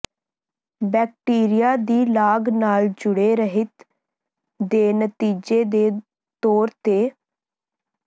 bacteria ਦੀ ਲਾਗ ਨਾਲ ਜੁੜੇ ਰਹਿਤ ਦੇ ਨਤੀਜੇ ਦੇ ਤੌਰ ਤੇ